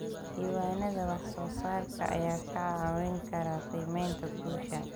Diiwaanada wax soo saarka ayaa kaa caawin kara qiimaynta guusha.